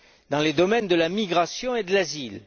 dans les domaines de la migration et de l'asile.